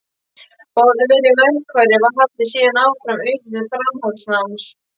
Báðir verið í verkfræði, haldið síðan áfram utan til framhaldsnáms.